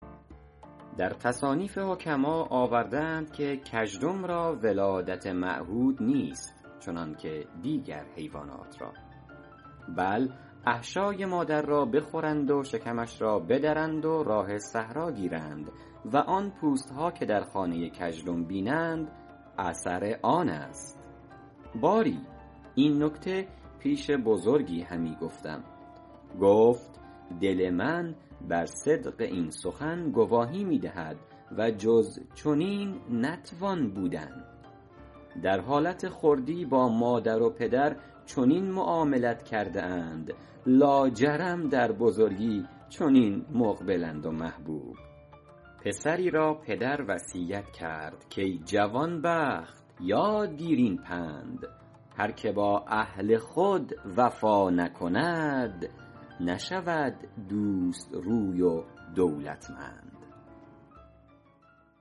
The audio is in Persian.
در تصانیف حکما آورده اند که کژدم را ولادت معهود نیست چنانکه دیگر حیوانات را بل احشای مادر را بخورند و شکمش را بدرند و راه صحرا گیرند و آن پوست ها که در خانه کژدم بینند اثر آن است باری این نکته پیش بزرگی همی گفتم گفت دل من بر صدق این سخن گواهی می دهد و جز چنین نتوان بودن در حالت خردی با مادر و پدر چنین معاملت کرده اند لاجرم در بزرگی چنین مقبلند و محبوب پسری را پدر وصیت کرد کای جوانبخت یاد گیر این پند هر که با اهل خود وفا نکند نشود دوست روی و دولتمند کژدم را گفتند چرا به زمستان به در نمی آیی گفت به تابستانم چه حرمت است که به زمستان نیز بیایم